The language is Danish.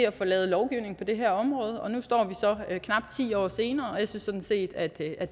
at få lavet lovgivning på det her område nu står vi så her knap ti år senere og jeg synes sådan set at det er